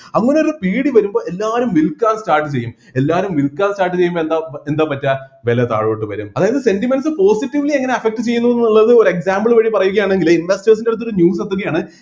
അങ്ങനെ ഒരു പേടി വരുമ്പോ എല്ലാരും വിൽക്കാൻ സാധ്യതയും എല്ലാരും വിൽക്കാൻ സാധ്യതയും എന്താ എന്താ പറ്റാ വില താഴോട്ട് വരും അതായത് sentiments positively എങ്ങനെ affect ചെയ്യുന്നു ന്നുള്ളത് ഒരു example വഴി പറയുകയാണെങ്കില് investors ൻ്റെ അടുത്ത് ഒരു news എത്തുകയാണ്